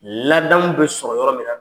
Ladamu bɛ sɔrɔ yɔrɔ min na